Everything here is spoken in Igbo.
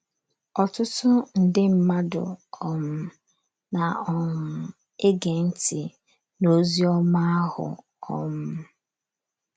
Ọtụtụ nde mmadụ um na um - ege ntị n’ozi ọma ahụ. um